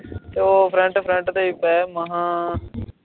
ਓ front front ਤੇ ਪਿਆ ਈ